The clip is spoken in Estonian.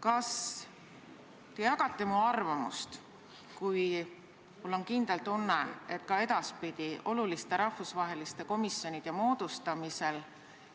Kas te jagate mu arvamust, kui mul on kindel tunne, et ka edaspidi peab oluliste rahvusvaheliste komisjonide moodustamisel